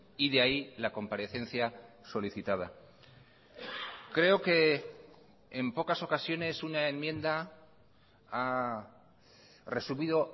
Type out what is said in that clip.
y de ahí la comparecencia solicitada creo que en pocas ocasiones una enmienda ha resumido